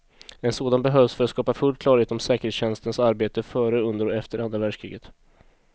En sådan behövs för att skapa full klarhet om säkerhetstjänsternas arbete före, under och efter andra världskriget.